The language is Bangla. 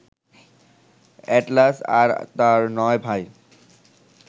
এ্যাটলাস আর তার নয় ভাই